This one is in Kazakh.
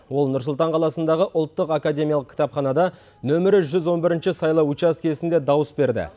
ол нұр сұлтан қаласындағы ұлттық академиялық кітапханада нөмірі жүз он бірінші сайлау учаскесінде дауыс берді